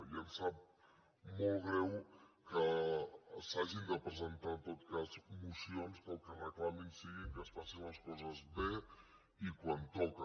i em sap molt greu que s’hagin de presentar en tot cas mocions que el que reclamin sigui que es facin les coses bé i quan toca